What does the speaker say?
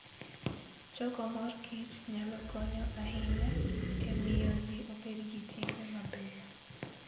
Choko mor kich nyalo konyo ahinya e miyo ji obed gi timbe mabeyo.